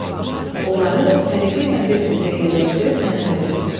Onları səliqəylə bir qutuya yerləşdirib mənə verdi.